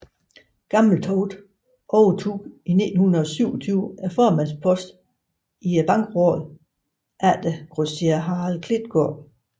Gammeltoft overtog i 1927 formandsposten i Bankrådet efter grosserer Harald Klitgaard